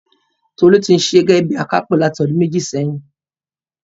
Tolú tí ń ṣiṣẹ gẹ́gẹ́ bíi akápò láti ọdún méjì sẹ́yìn.